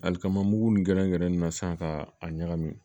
Alikama mugu nin gɛrɛ gɛrɛ in na sisan ka a ɲagami